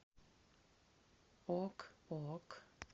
ок ок